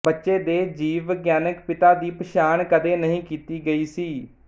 ਬੱਚੇ ਦੇ ਜੀਵਵਿਗਿਆਨਕ ਪਿਤਾ ਦੀ ਪਛਾਣ ਕਦੇ ਨਹੀਂ ਕੀਤੀ ਗਈ ਸੀ